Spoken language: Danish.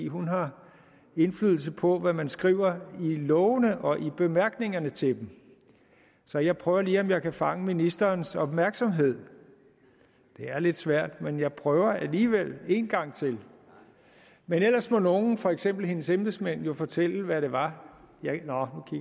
hun har indflydelse på hvad man skriver i lovene og i bemærkningerne til dem så jeg prøver lige om jeg kan fange ministerens opmærksomhed det er lidt svært men jeg prøver alligevel en gang til men ellers må nogle for eksempel hendes embedsmænd jo fortælle hvad det var